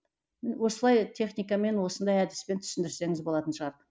осылай техникамен осындай әдіспен түсіндірсеңіз болатын шығар